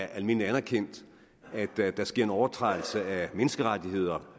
almindeligt anerkendt at der sker en overtrædelse af menneskerettigheder